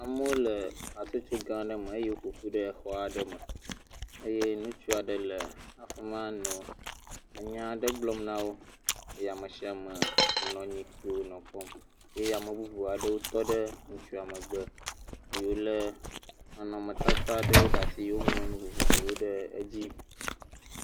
Amewo le hatsotso gã aɖe me eye woƒoƒu ɖe xɔ aɖe me eye ŋutsu aɖe le afi ma le nya aɖe gblɔm na wo, eye ame sia ame nɔ anyi kpo nɔ ekpɔ eye ame bubuwo tɔ ɖe ŋutsua megbe eye wolé nɔnɔmetata vovovowo ɖe asi woŋlɔ nu vovovowo ɖe edzi.